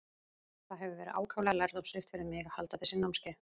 Það hefur verið ákaflega lærdómsríkt fyrir mig að halda þessi námskeið.